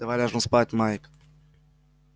давай ляжем спать майк